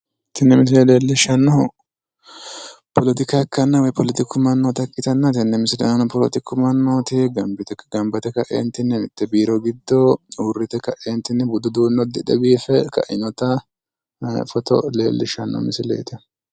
Tini misile leellishshannohu politika ikkanna woyi politiku mannota ikkitanna tenne misile aana politiku mannooti gamba yite ka'entinni mitte biiro giddo uurrite ka'entinni budu uddunne uddidhe biife ka'inota foto leellishshanno misileeti.